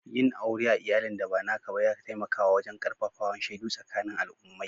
Yin aure a'iyallin da ba naka ba ya taimaka wajen karfafawan shaidu sakanin alummai.